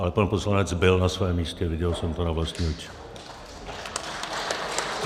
Ale pan poslanec byl na svém místě, viděl jsem to na vlastní oči.